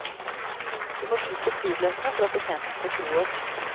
Vi må vise flybillettene for at betjenten skal tro oss.